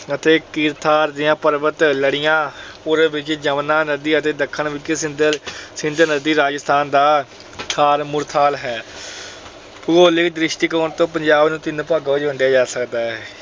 ਅਤੇ ਕਿਰਥਾਰ ਦੀਆਂ ਪਰਬਤ ਲੜੀਆਂ, ਪੂਰਬ ਵਿੱਚ ਜਮੁਨਾ ਨਦੀ ਅਤੇ ਦੱਖਣ ਵਿੱਚ ਸਿੰਧ ਨਦੀ ਰਾਜਸਥਾਨ ਦਾ ਥਾਰ ਮਾਰੂਥਲ ਅਹ ਹੈ। ਭੂਗੋਲਿਕ ਦ੍ਰਿਸ਼ਟੀਕੋਣ ਤੋਂ ਪੰਜਾਬ ਨੂੰ ਤਿੰਨ ਭਾਗਾਂ ਵਿੱਚ ਵੰਡਿਆਂ ਜਾ ਸਕਦਾ ਹੈ।